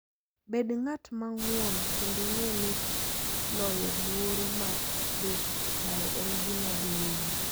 Bed ng'at mang'won kendo ng'e ni loyo luoro mar dhi bayo en gima dhi nyime.